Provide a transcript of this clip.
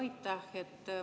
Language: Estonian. Aitäh!